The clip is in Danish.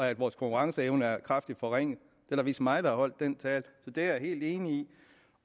at vores konkurrenceevne er kraftigt forringet det var vist mig der holdt den tale så det er jeg helt enig i